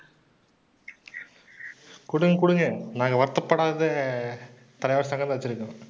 குடுங்க, குடுங்க. நாங்க வருத்தப்படாத சங்கம் தான் வெச்சுருக்கோம்.